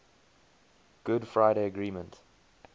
good friday agreement